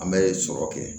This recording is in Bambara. An bɛ sɔrɔ kɛ